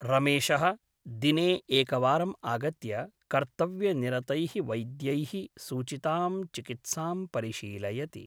रमेशः दिने एकवारम् आगत्य कर्तव्यनिरतैः वैद्यैः सूचितां चिकित्सां परिशीलयति ।